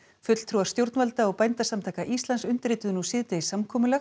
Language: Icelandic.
fulltrúar stjórnvalda og Bændasamtaka Íslands undirrituðu nú síðdegis samkomulag